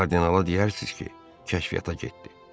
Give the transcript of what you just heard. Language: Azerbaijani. Kardinala deyərsiniz ki, kəşfiyyata getdi.